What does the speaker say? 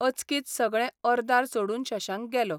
अचकीत सगळें अर्दार सोडून शशांक गेलो.